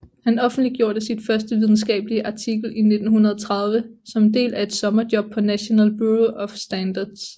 Han offentliggjorde sit første videnskabelige artikel i 1930 som en del af et sommerjob på National Bureau of Standards